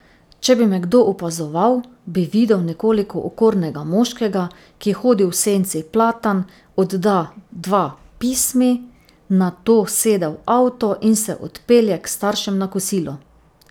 Če bi me kdo opazoval, bi videl nekoliko okornega moškega, ki hodi v senci platan, odda dva pismi, nato sede v avto in se odpelje k staršem na kosilo.